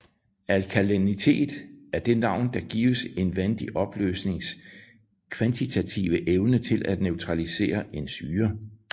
Alkalinitet er det navn der gives en vandig opløsnings kvantitative evne til at neutralisere en syre